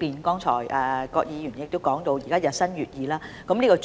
葛議員剛才提到現時醫學日新月異，